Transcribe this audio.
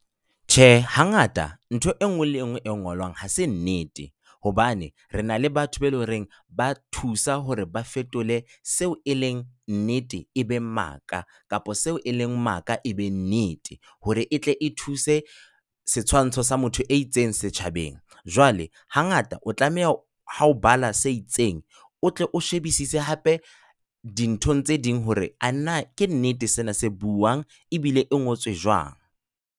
Tjhe hangata ntho enngwe le enngwe e ngolwang ha se nnete, hobane re na le batho ba eleng hore ba thusa hore ba fetole seo e leng nnete e be maka, kapa seo e leng maka, e be nnete hore etle e thuse setshwantsho sa motho e itseng setjhabeng. Jwale hangata o tlameha ha o bala se itseng, o tle o shebisise hape dinthong tse ding hore, ana ke nnete sena se buang ebile e ngotswe jwang.